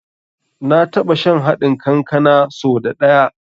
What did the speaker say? Na taɓa shan haɗin kankanan so da ɗaya.